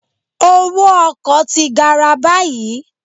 Owó ọkọ̀ ti gara báyìí